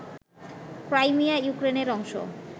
Crimea ইউক্রেনের অংশ